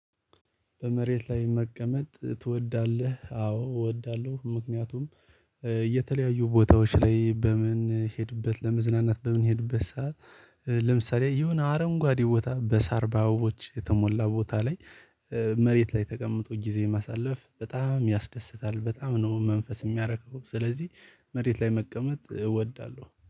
በመሬት ላይ መቀመጥ ትወዳለህ? አዎ እወዳለሁ። ምክንያቱም የተለያዩ ቦታዎች ላይ በምንሄድበት ለመዝናናት በምንሄድበት ሰዓት ለምሳሌ ይሆነ አረንጓዴ ቦታ በሳር በአበቦች የተሞላ ቦታ ላይ። መሬት ላይ ተቀምጦ ጊዜ ማሳለፍ በጣም ያስደስታል በጣም ነው መንፈስ የሚያረካው ስለዚህ። መሬት ላይ መቀመጥ እወዳለሁ